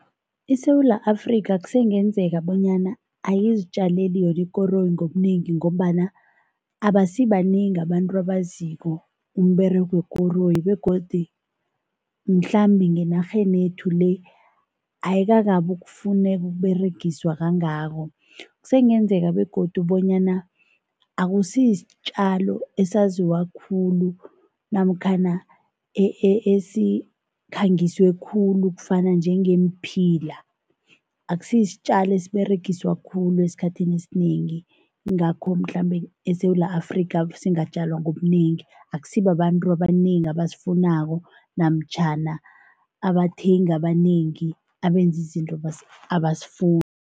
ISewula Afrika kusengenzeka bonyana ayizitjaleli yona ikoroyi ngobunengi ngombana abasibanengi abantu abaziko umberego wekoroyi begodi mhlambe ngenarhenethu le, ayikakabi ukufuneka, ukuberegiswa kangako. Kusengenzeka begodu bonyana akusiyisitjalo esaziwa khulu namkhana esikhangiswe khulu kufana njengeemphila, akusiyisitjalo esiberegiswa khulu esikhathini esinengi, yingakho mhlambe eSewula Afrika singatjalwa ngobunengi, akusibabantu abanengi abasifunako namtjhana abathengi abanengi abenza izinto abasifuni.